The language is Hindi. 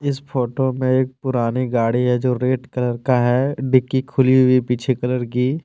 इस फोटो में एक पुरानी गाड़ी है जो रेड कलर का है डिग्गी खुली हुई है पीछे कलर की।